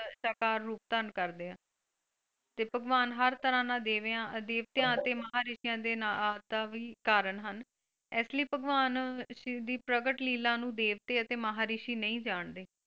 ਸਾਕਾਰ ਰੂਪ ਧਾਰਨ ਕਰਦੇ ਆ ਤੇ ਭਗਵਾਨ ਹਰ ਤਰ੍ਹਾਂ ਨਾਲ ਦੇਵੇਆਂ ਅਦੇਵਤੇਆਂ ਅਤੇ ਮਹਾਰਿਸ਼ੀਆਂ ਆਹ ਦੇ ਵੀ ਕਾਰਨ ਹਨ ਇਸਲਈ ਭਗਵਾਨ ਸ਼ਿਵ ਦੀ ਪ੍ਰਗਟ ਲੀਲਾ ਨੂੰ ਦੇਵਤੇ ਅਤੇ ਮਹਾਰਿਸ਼ੀ ਨਹੀਂ ਜਾਣਦੇ।